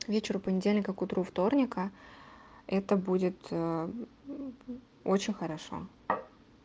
к вечеру понедельника к утру вторника это будет а очень хорошо